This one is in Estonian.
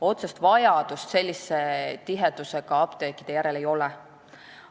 Otsest vajadust sellise tihedusega apteekide järele ei ole.